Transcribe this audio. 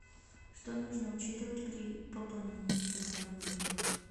что нужно учитывать при пополнении телефона друга